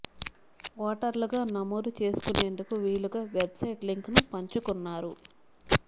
ఓటర్లుగా నమోదు చేసు కునేందుకు వీలుగా వెబ్సైట్ లింకును పంచు కున్నారు